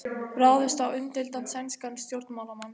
Ráðist á umdeildan sænskan stjórnmálamann